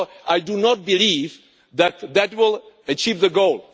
I do not believe that that will achieve the goal.